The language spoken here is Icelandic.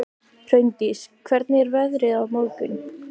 Hraundís, hvernig er veðrið á morgun?